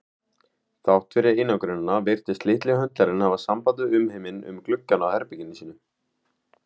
Þrátt fyrir einangrunina virtist litli höndlarinn hafa samband við umheiminn um gluggann á herbergi sínu.